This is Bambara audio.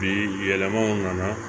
Bi yɛlɛmaw nana